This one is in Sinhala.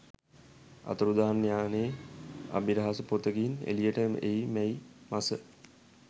අතුරුදන් යානයේ අබිරහස පොතකින් එළියට එයි මැයි මස